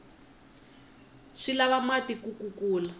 swi lava mati ku kula